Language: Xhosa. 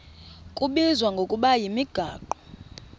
kubizwa ngokuba yimigaqo